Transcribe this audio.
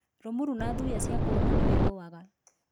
Rũmuru na thuya ciakũrũma nĩ wĩthũaga.